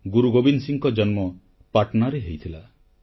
ଗୁରୁ ଗୋବିନ୍ଦ ସିଂହଙ୍କ ଜନ୍ମ ପାଟନାରେ ହେଇଥିଲା